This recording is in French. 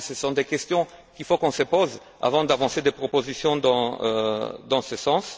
Je pense que ce sont des questions qu'il faut qu'on se pose avant d'avancer des propositions dans ce sens.